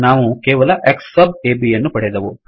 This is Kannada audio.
ನಾವು ಕೇವಲ X ಸಬ್ ಅಬ್ ಯನ್ನು ಪಡೆದೆವು